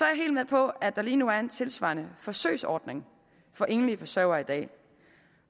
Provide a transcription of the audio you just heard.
jeg helt med på at der lige nu er en tilsvarende forsøgsordning for enlige forsørgere i dag